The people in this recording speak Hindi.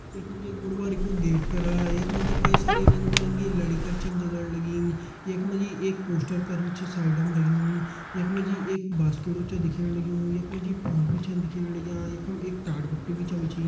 यख मा जी एक बडू भारी कू गेट करा यख मा जी कई सारी रंग बिरंगी लड़ी कर छन जलण लगीं यख मा जी एक पोस्टर कर भी छ साइड मा लग्यूं यख मा जी एक बांस खेडू छ साइड मा दिखेण लग्युं यख मा जी फूल भी छन दिखेण लग्यां यखम एक टाट पट्टी भी छन बिछीं।